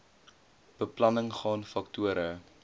beplanning gaan faktore